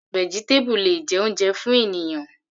Vegetable le jẹ́ oúnjẹ fún ènìyàn.